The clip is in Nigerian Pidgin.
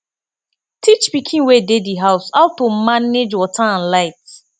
teach pikin wey dey di house how to manage water and light